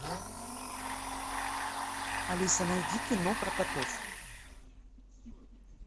алиса найди кино про котов